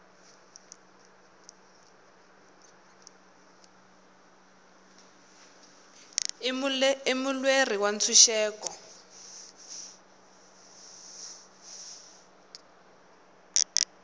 i mulweri wa ntshuxeko